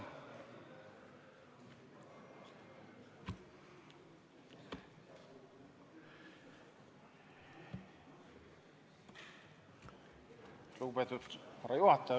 Lugupeetud härra juhataja!